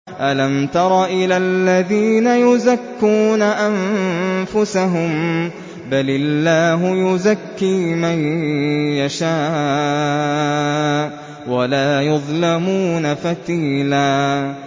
أَلَمْ تَرَ إِلَى الَّذِينَ يُزَكُّونَ أَنفُسَهُم ۚ بَلِ اللَّهُ يُزَكِّي مَن يَشَاءُ وَلَا يُظْلَمُونَ فَتِيلًا